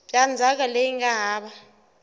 bya ndzhaka leyi nga hava